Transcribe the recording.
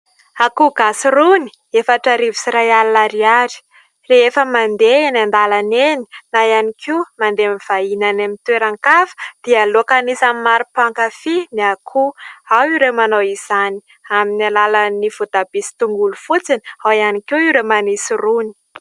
Akoho gasy rony : efatra arivo sy iray alina ariary. Rehefa mandeha eny an-dalana eny na ihany koa mandeha mivahiny any amin'ny toeran-kafa dia loaka anisan'ny maro mpankafy ny akoho. Ao ireo manao izany amin'ny alalan'ny voatabia sy tongolo fotsiny, ao ihany koa ireo manisy rony.